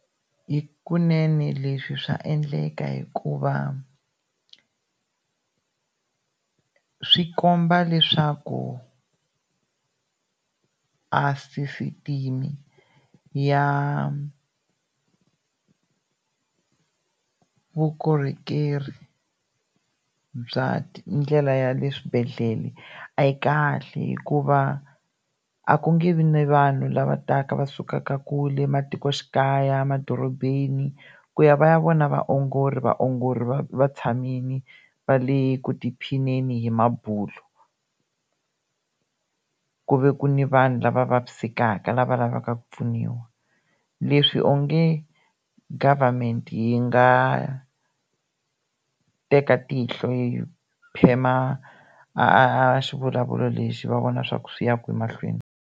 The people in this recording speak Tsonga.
Hikunene leswi swa endleka hikuva swi komba leswaku a sisitime ya vukorhokeri bya ndlela ya le swibedhlele a yi kahle hikuva a ku nge vi ni vanhu lava taka va sukaka kule matikoxikaya, madorobeni ku ya va ya vona vaongori vaongori va va tshamile va le ku tiphineni hi mabulo ku ve ku ni vanhu lava vavisekaka lava lavaka ku pfuniwa leswi onge government yi nga teka tihlo yi phema a a xivulavulo lexi va vona swa ku swi ya kwini mahlweni.